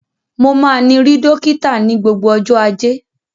Mo máa ni ri dokita ni gbogbo ọjọ ajé.